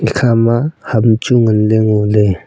ekha ma ham chu ngan ley ngo ley.